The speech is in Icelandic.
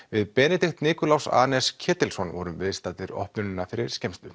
við Benedikt Nikulás anes Ketilsson vorum viðstaddir opnunina fyrir skemmstu